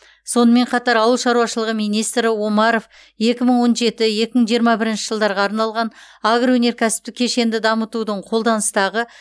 сонымен қатар ауыл шаруашылығы министрі омаров екі мың он жеті екі мың жиырма бірінші жылдарға арналған агроөнеркәсіптік кешенді дамытудың қолданыстағы